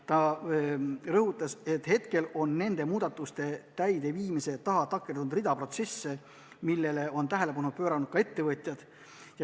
Ta rõhutas, et nende muudatuste täideviimise taha on takerdunud rida protsesse, ja sellele on tähelepanu pööranud ka ettevõtjad.